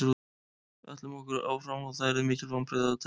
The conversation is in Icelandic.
Við ætlum okkur áfram og það yrðu mikil vonbrigði ef það tækist ekki.